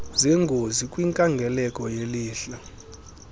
zengozi kwinkangeleko yelihlo